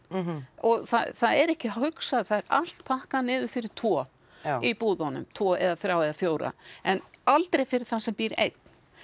og það er ekki hugsað það er allt pakkað niður fyrir tvo í búðunum tvo eða þrjá eða fjóra en aldrei fyrir þann sem býr einn